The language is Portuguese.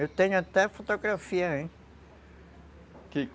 Eu tenho até fotografia aí.